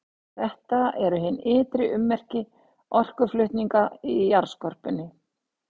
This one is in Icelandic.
Þetta eru hin ytri ummerki orkuflutninga í jarðskorpunni.